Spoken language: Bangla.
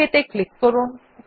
ওক ত়ে ক্লিক করুন